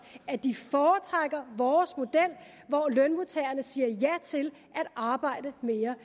at de foretrækker vores model hvor lønmodtagerne siger ja til at arbejde mere